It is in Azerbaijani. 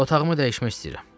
Otağımı dəyişmək istəyirəm.